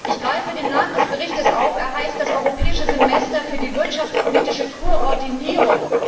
Ich greife den Namen des Berichts auf. Er heißt Das Europäische Semester für die wirtschaftspolitische Koordinierung.